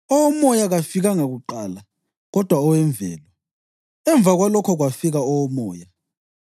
Owomoya kafikanga kuqala, kodwa owemvelo, emva kwalokho kwafika owomoya.